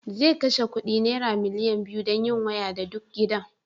zai kashe ku naira miliyan biyu don yin waya da duk gidan